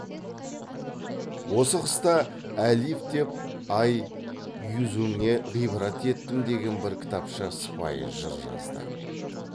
осы қыста әлиф деп ай юзіңе ғибрат еттім деген бір кітапша сыпайы жыр жазды